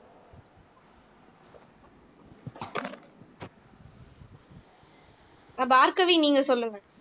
அஹ் பார்கவி நீங்க சொல்லுங்க